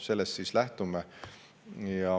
Sellest me siis lähtume.